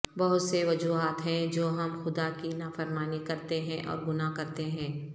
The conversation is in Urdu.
بہت سے وجوہات ہیں جو ہم خدا کی نافرمانی کرتے ہیں اور گناہ کرتے ہیں